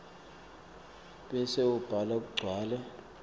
bese ubhala kugcwale